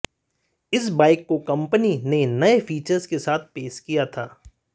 इस बाइक को कंपनी ने नए फीचर्स के साथ पेश किया था